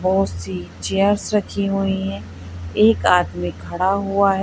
बहोत सी चीयर्स रखी हुई हैं एक आदमी खड़ा हुआ है।